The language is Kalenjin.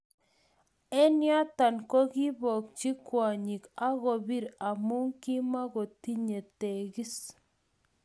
Eng yoto kokiibokchi kwonyik ak kobir amu makotinyei teekis